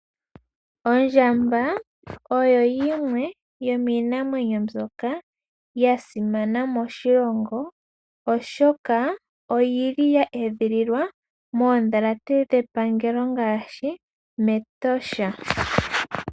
Ondjamba oyo yimwe yomiinamwenyo mbyoka ya simana moshilongo, oshoka oyili ya edhililwa moondhalate dhepangelo ngaashi meEtosha.